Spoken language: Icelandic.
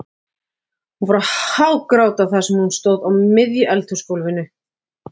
Hún fór að hágráta þar sem hún stóð á miðju eldhúsgólfinu.